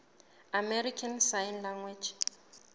american sign language